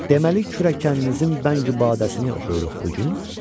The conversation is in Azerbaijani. Deməli kürəkəninizin Bəngü Badəsini oxuyuruq bu gün?